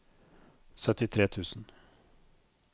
syttitre tusen